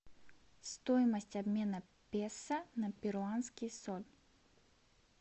стоимость обмена песо на перуанский соль